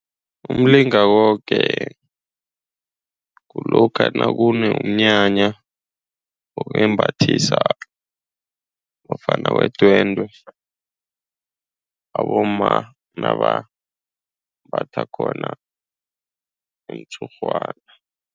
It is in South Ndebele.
Umlingakobe kulokha nakunomnyanya wokwembathisa ofana wedwendwe. Abomma nabambatha khona umtshurhwana.